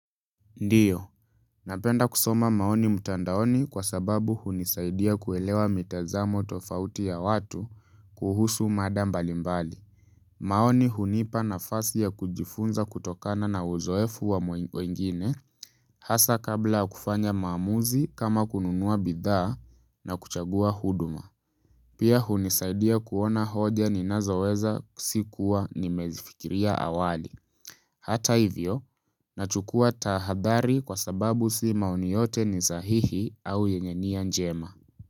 Ndiyo. Napenda kusoma maoni mtandaoni kwa sababu hunisaidia kuelewa mitazamo tofauti ya watu kuhusu mada mbali mbali. Maoni hunipa nafasi ya kujifunza kutokana na uzoefu wa mwingine hasa kabla kufanya maamuzi kama kununua bidhaa na kuchagua huduma. Pia hunisaidia kuona hoja ninazoweza sikuwa nimezifikiria awali. Hata hivyo, nachukua tahadhari kwa sababu si maoni yote ni sahihi au yenye nia njema.